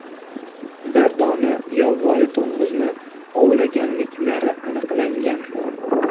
bir dona yovvoyi to‘ng‘izni ovlaganliklari aniqlangan.